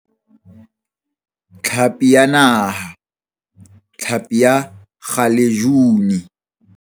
Tlhapi ya Naha, hlapi ya kgalejuni.